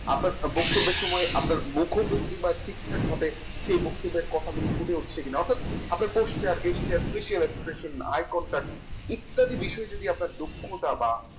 আপনার বক্তব্যের সময় আপনার মুখভঙ্গিমা ঠিকঠাকভাবে সে বক্তব্যের কথা গুলি ফুটে উঠছে কেন অর্থাৎ Posture gesture Facial expression eye concert ইত্যাদি বিষয়ে যদি আপনার দক্ষতা বা